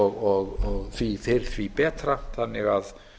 og því fyrr því betra þannig að